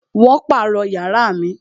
Wón pàrọ̀ yàrá mi